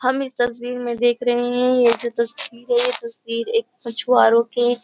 हम इस तस्वीर में देख रहे हैं यह जो तस्वीर है ये तस्बीर एक मछुआरों के --